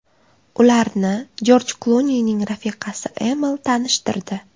Ularni Jorj Klunining rafiqasi Amal tanishtirdi.